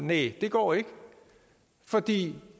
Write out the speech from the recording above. næh det går ikke fordi